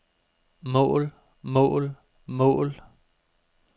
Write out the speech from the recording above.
mål mål mål